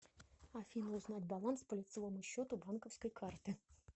афина узнать баланс по лицевому счету банковской карты